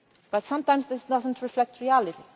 to. But sometimes this does not reflect reality.